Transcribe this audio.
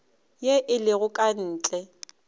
ye e lego ka ntle